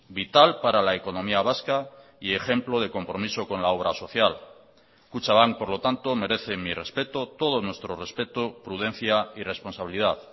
vital para la economía vasca y ejemplo de compromiso con la obra social kutxabank por lo tanto merece mi respeto todo nuestro respeto prudencia y responsabilidad